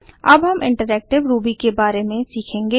अब हम interactive Ruby के बारे में सीखेंगे